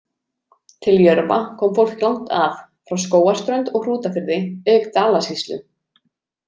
Til Jörfa kom fólk langt að, frá Skógarströnd og Hrútafirði auk Dalasýslu.